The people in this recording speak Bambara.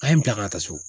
An ye bila ka taa so